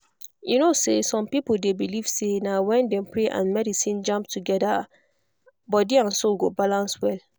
you know say some people dey believe say na when dem pray and medicine jam together body and soul go balance well.